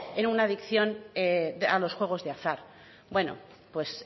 en una adicción a los juegos de azar bueno pues